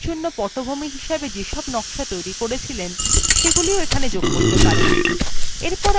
আপনি নিজের slidesএর জন্য পটভূমি হিসাবে যেসব নকশা তৈরি করেছিলেন সেগুলিও এখানে যোগ করতে পারেন